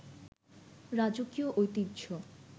রাজকীয় ঐতিহ্য